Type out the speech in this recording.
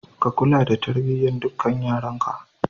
Ka kula da tarbiyyar dukkan yaranka.